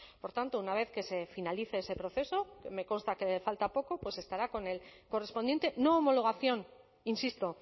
por tanto una vez que se finalice ese proceso que me consta que falta poco pues estará con el correspondiente no homologación insisto